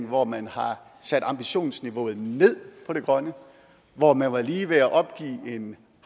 hvor man har sat ambitionsniveauet ned på det grønne hvor man var lige ved at opgive en